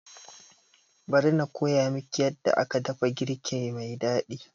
Bari na koya miki yadda aka dafa girki mai daɗi